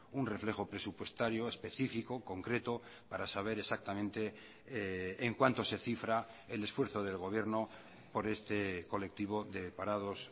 un reflejo presupuestario específico concreto para saber exactamente en cuanto se cifra el esfuerzo del gobierno por este colectivo de parados